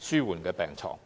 紓緩治療病床。